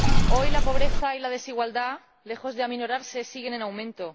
Hoy la pobreza y la desigualdad, lejos de aminorar, siguen en aumento.